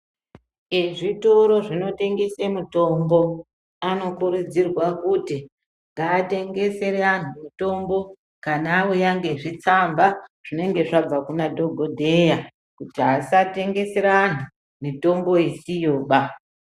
Ezvitoro zvinotengesa mitombo anokurudzirwa kuti ngatengesere antu mitombo kana auya nezvitsamba zvinenge zvabva kunadhokodheya Kuti asatengesera angu mitombo isiyo.